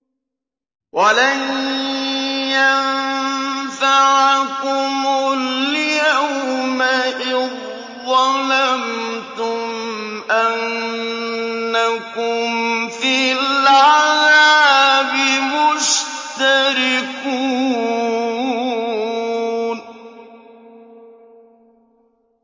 وَلَن يَنفَعَكُمُ الْيَوْمَ إِذ ظَّلَمْتُمْ أَنَّكُمْ فِي الْعَذَابِ مُشْتَرِكُونَ